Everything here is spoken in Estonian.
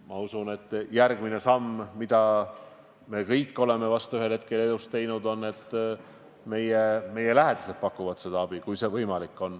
Ma usun, et järgmine samm, mida me kõik oleme vist ühel hetkel elus teinud, on see, et meie lähedased pakuvad meile abi, kui see on võimalik.